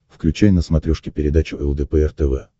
включай на смотрешке передачу лдпр тв